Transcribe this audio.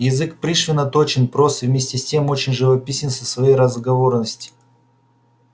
язык пришвина точен прост и вместе с тем очень живописен со своей разговорности